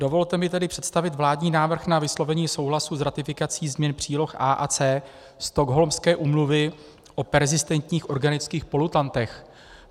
Dovolte mi tady představit vládní návrh na vyslovení souhlasu s ratifikací změn příloh A a C Stockholmské úmluvy o perzistentních organických polutantech.